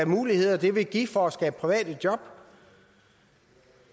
muligheder det vil give for at skabe private job